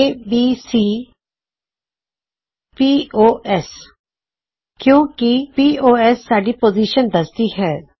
ABC ਪੋਸ ਕਿਓਂ ਕੀ ਪੋਸ ਸਾਡੀ ਪੋਜ਼ਿਸ਼ਨ ਦਸਦੀ ਹੈ